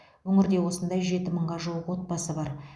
өңірде осындай жеті мыңға жуық отбасы бар